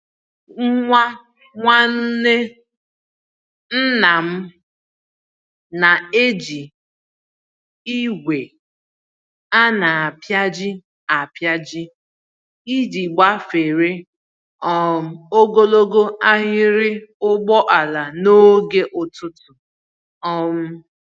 Nwa Nwanne ńnàm na-eji igwe a na-apịaji apịaji iji gbafere um ogologo ahiri ụgbọala n'oge ụtụtụ um